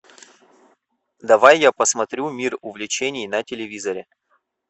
давай я посмотрю мир увлечений на телевизоре